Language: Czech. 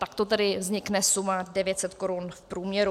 Takto tedy vznikne suma 900 korun v průměru.